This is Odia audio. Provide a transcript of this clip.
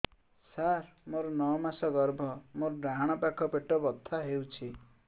ସାର ମୋର ନଅ ମାସ ଗର୍ଭ ମୋର ଡାହାଣ ପାଖ ପେଟ ବଥା ହେଉଛି